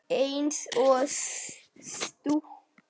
Eins og í stúku.